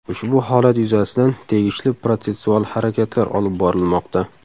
Ushbu holat yuzasidan tegishli protsessual harakatlar olib borilmoqda.